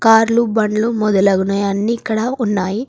కార్లు బండ్లు మొదలగునవి అన్ని ఇక్కడ ఉన్నాయి.